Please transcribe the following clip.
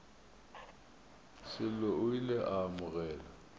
sello o ile a amogela